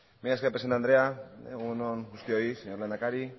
mila esker presidente andrea egun on guztioi señor lehendakari